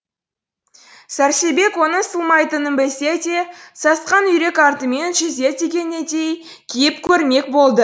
сәрсебек оның сыймайтының білсе де сасқан үйрек артымен жүзеді дегенедей киіп көрмек болды